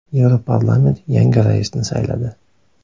Yevroparlament yangi raisni sayladi.